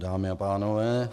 Dámy a pánové.